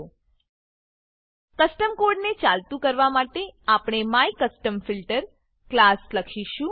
custom code custom code ને ચાલતું કરવા માટે આપણે માયકસ્ટમફિલ્ટર ક્લાસ લખીશું